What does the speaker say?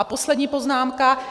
A poslední poznámka.